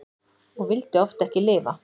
Og vildi oft ekki lifa.